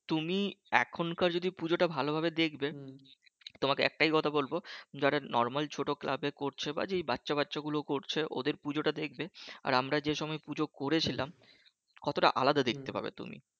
তুমি এখনকার যদি পুজো টা ভালোভাবে দেখবে তোমাকে একটাই কথা বলবো যারা normal ছোট ক্লাব র করছে বা যে বাচ্চা বাচ্চা গুলো করছে ওদের পুজোটা দেখবে আর আমরা যে সময় পূজো করেছিলাম কতটা আলাদা দেখতে পাবে